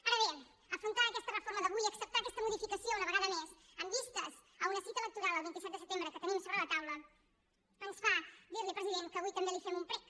ara bé afrontar aquesta reforma d’avui acceptar aquesta modificació una vegada més en vistes d’una cita electoral el vint set de setembre que tenim sobre la taula ens fa dir li president que avui també li fem un prec